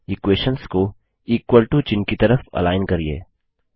equations को equal to चिह्न कि तरफ अलाइन करिये